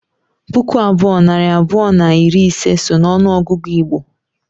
puku abụọ, nari abụọ na iri ise so n’ọnụọgụgụ Igbo